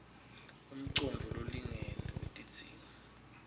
umcondvo lolingene wetidzingo